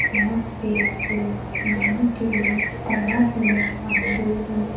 यहाँ पे लोग नहाने के लिए तलाब में आये हुए हैं।